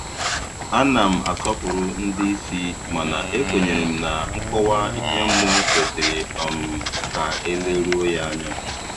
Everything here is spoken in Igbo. A na m asọpụrụ ndị isi mana ekwenyere m na nkọwa ihe mmụọ kwesịrị um ka e leruo ya anya.